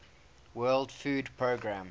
world food programme